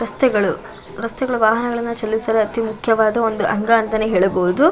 ರಸ್ತೆಗಳು ರಸ್ತೆಗಳು ವಾಹನಗಳಿಗೆ ಚಲಿಸಲು ಅತಿ ಒಂದು ಮುಖ್ಯ ಅಂಗ ಅಂತಾನೆ ಹೇಳಬಹುದು.